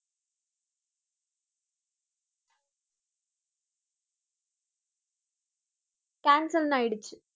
cancel ன்னு ஆயிடுச்சு